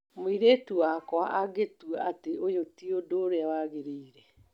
Mũirĩtu wakwa agĩtua atĩ ũyũ ti ũndũ ũrĩa wagĩrĩire